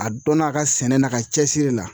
A dɔnna a ka sɛnɛ na a ka cɛsiri la